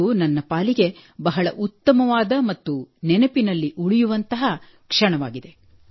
ಇದು ನನ್ನ ಪಾಲಿಗೆ ಬಹಳ ಉತ್ತಮವಾದ ಮತ್ತು ನೆನಪಿನಲ್ಲಿ ಉಳಿಯುವಂತಹ ಕ್ಷಣವಾಗಿದೆ